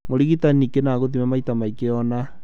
Mũrigitani ningĩ nĩ agũthime maita maigana ũna